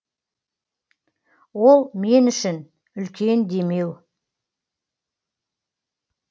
ол мен үшін үлкен демеу